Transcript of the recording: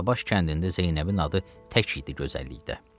Danabaş kəndində Zeynəbin adı tək idi gözəllikdə.